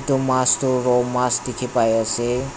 etu mas toh ro mas dikhi pai ase.